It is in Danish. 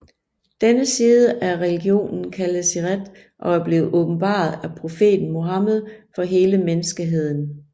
Denne side af religionen kaldes Şeriat og er blevet åbenbaret af profeten Muhammed for hele menneskeheden